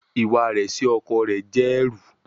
Iwa rẹ si ọkọ rẹ jẹ ẹru